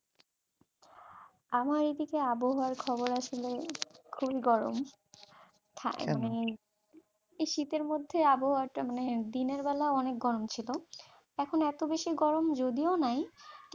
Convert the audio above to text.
আমার এইদিকে আবহাওয়ার খবর আসলে খুবই গরম, তা মানে এই শীতের মধ্যে আবহাওয়াটা মানে দিনের বেলা অনেক গরম ছিল এখন এত বেশি গরম যদিও নাই।